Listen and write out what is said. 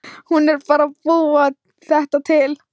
Hún er bara að búa þetta til.